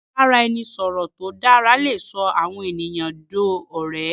ibaraẹnisọrọ tó dara lẹ sọ àwọn ènìyàn dó òré.